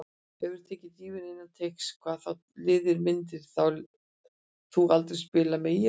Hefurðu tekið dýfu innan teigs: Nei Hvaða liði myndir þú aldrei spila með: ÍR